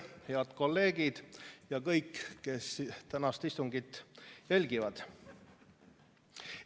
Head kolleegid ja kõik, kes tänast istungit jälgivad!